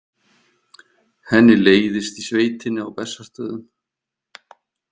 Henni leiðist í sveitinni á Bessastöðum.